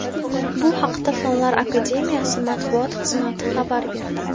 Bu haqda Fanlar akademiyasi matbuot xizmati xabar berdi .